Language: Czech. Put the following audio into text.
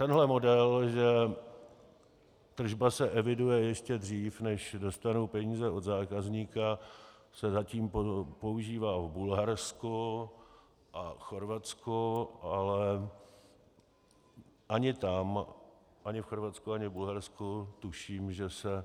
Tenhle model, že tržba se eviduje ještě dřív, než dostanu peníze od zákazníka, se zatím používá v Bulharsku a Chorvatsku, ale ani tam, ani v Chorvatsku ani v Bulharsku tuším, že se